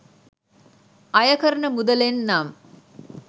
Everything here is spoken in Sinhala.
අය කරන මුදලෙන් නම්